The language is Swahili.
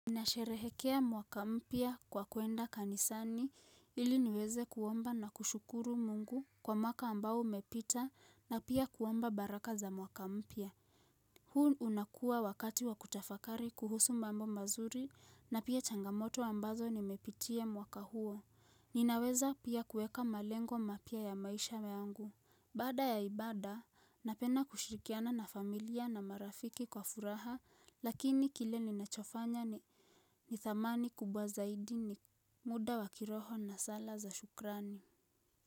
Ninasherehekea mwaka mpya kwa kuenda kanisani ili niweze kuomba na kushukuru mungu kwa mwaka ambao umepita na pia kuomba baraka za mwaka mpya. Huu unakua wakati wa kutafakari kuhusu mambo mazuri na pia changamoto ambazo nimepitia mwaka huo. Ninaweza pia kueka malengo mapya ya maisha yangu. Baada ya ibada, napenda kushirikiana na familia na marafiki kwa furaha lakini kile ninachofanya nithamani kubwa zaidi ni muda wa kiroho na sala za shukrani.